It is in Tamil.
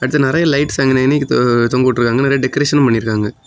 இத நிறைய லைட்ஸ் நின்னு தொங்கவிட்டு இருக்காங்க நிறைய டெக்கரேஷனும் பண்ணியிருக்காங்க.